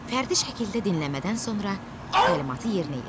Fərdi şəkildə dinləmədən sonra təlimatı yerinə yetir.